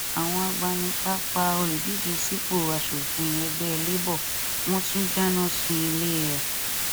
àwọn agbanipa pa olùdíje sípò asòfin ẹgbẹ labour wọn tún dáná sunlé e rẹ